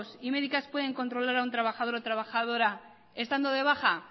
y médicas pueden controlar a un trabajador o trabajadora estando de baja